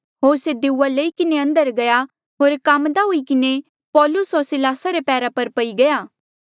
होर से दिउआ लई किन्हें अंदर गया होर काम्मदा हुई किन्हें पौलुस होर सिलासा रे पैरा पई गया